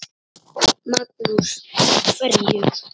Magnús: Af hverju?